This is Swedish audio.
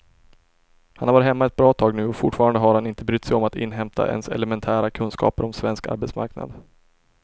Han har varit hemma ett bra tag nu och fortfarande har han inte brytt sig om att inhämta ens elementära kunskaper om svensk arbetsmarknad.